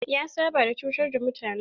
Ya saba da cutar mutane.